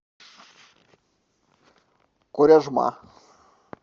коряжма